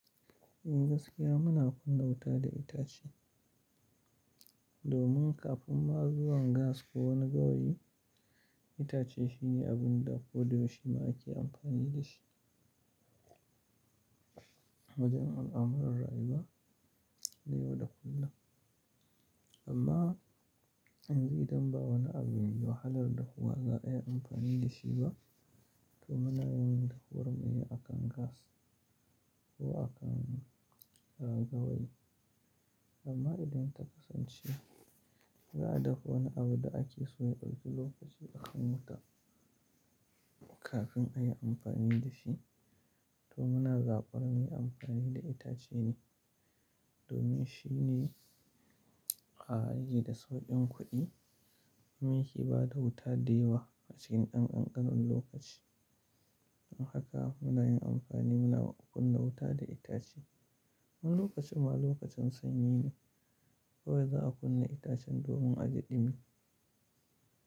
In gaskiya muna kunna wuta da itace. Domin kafin ma zuwan gas ko wani gawayi, itace shi ne abun da ko dayau shima ake amfani da shi. Wajen ar amuran rayuwa, na yau da kullen. Amma yanzu idan ba wani abu mai wahalar dahuwa za yi amfani da shi ba, to muna yin da huwar mune a kan gas ko a kan gawayi. Amma idan ta kasance, za a dafa wani abu da ake so ya dauki lokaci a ksn huta kafin a yi amfani da shi, to muna zaɓar mu yi amfani da itace ne. Domin shi ne ahh yake da sauƙin kuɗi, kuma ya ke ba da wuta da yawa a cikin ɗan ƙanƙanon lokaci. Don haka muna yin amfani muna kunna wuta da itace. Wani lokacin ma lokacin sanyi ne, kawai za a kunna itacen domin a ji ɗumi.